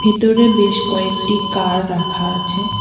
ভেতরে বেশ কয়েকটি কার রাখা আছে।